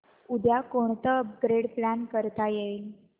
उद्या कोणतं upgrade plan करता येईल